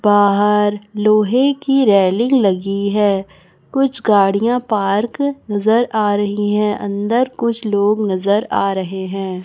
बाहर लोहे की रेलिंग लगी है कुछ गाड़ियां पार्क नजर आ रही है अंदर कुछ लोग नजर आ रहे हैं।